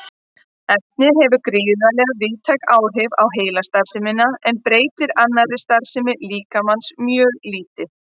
Efnið hefur gríðarlega víðtæk áhrif á heilastarfsemina en breytir annarri starfsemi líkamans mjög lítið.